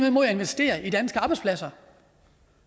imod at investere i danske arbejdspladser